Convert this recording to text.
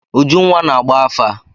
Ujunwa na-agba afa.